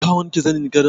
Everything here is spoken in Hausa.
Ka wanke zanin gadon?